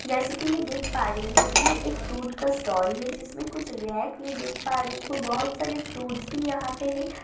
जैसे कि मैं देख पा रही हूं ये एक फ्रूट का स्टॉल है जिसमें कुछ रैक में देख पा रही हूं बहोत सारे फ्रूट्स भी यहां पे है।